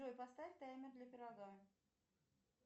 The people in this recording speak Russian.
джой поставь таймер для пирога